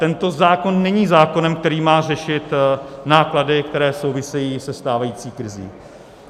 Tento zákon není zákonem, který má řešit náklady, které souvisejí se stávající krizí.